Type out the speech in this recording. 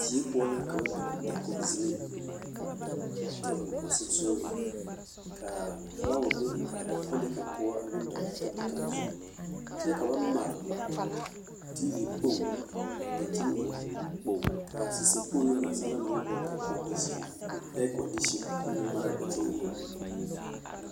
Die poɔ la ka ba biŋ dakogzenii a biŋ tabol a sonsooreŋ ka filaawa be kolee kaŋ poɔ a meŋ dɔglaa tabol kaŋ zu kyɛ ka ba mare tiivi kpoŋ a daŋkyin eŋɛŋ kaa saseɛ kpoŋ na naasaalaa naŋ maŋ boɔle ka kɔndisin ɛɛkɔndisin koo meŋ maraa daŋkyin eŋɛŋ.